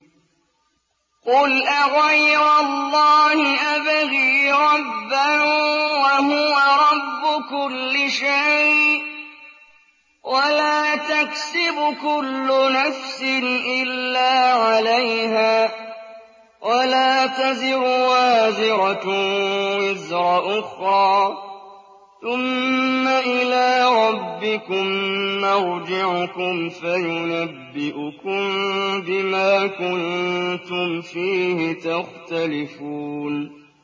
قُلْ أَغَيْرَ اللَّهِ أَبْغِي رَبًّا وَهُوَ رَبُّ كُلِّ شَيْءٍ ۚ وَلَا تَكْسِبُ كُلُّ نَفْسٍ إِلَّا عَلَيْهَا ۚ وَلَا تَزِرُ وَازِرَةٌ وِزْرَ أُخْرَىٰ ۚ ثُمَّ إِلَىٰ رَبِّكُم مَّرْجِعُكُمْ فَيُنَبِّئُكُم بِمَا كُنتُمْ فِيهِ تَخْتَلِفُونَ